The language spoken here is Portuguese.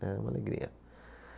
Era uma alegria.